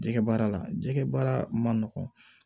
Jɛgɛ baara la jɛgɛ baara man nɔgɔn